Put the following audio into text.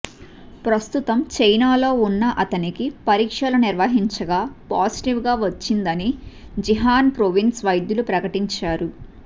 ప్రస్తుతం చైనాలో ఉన్న అతనికి పరీక్షలు నిర్వహించగా పాజిటీవ్గా వచ్చిందని జిహన్ ప్రోవిన్స్ వైద్యులు ప్రకటించారు